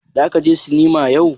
Zaka je sinima yau.